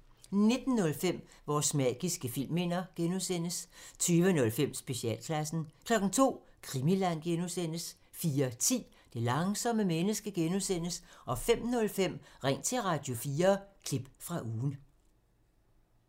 19:05: Vores magiske filmminder (G) 20:05: Specialklassen 02:00: Krimiland (G) 04:10: Det langsomme menneske (G) 05:05: Ring til Radio4 – klip fra ugen